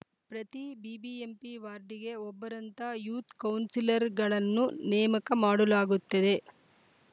ಪ್ರತಿ ಬಿಬಿಎಂಪಿ ವಾರ್ಡಿಗೆ ಒಬ್ಬರಂತೆ ಯೂತ್‌ ಕೌನ್ಸಿಲರ್‌ಗಳನ್ನು ನೇಮಕ ಮಾಡಲಗುತ್ತದೆ